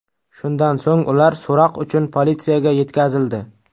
Shundan so‘ng ular so‘roq uchun politsiyaga yetkazildi.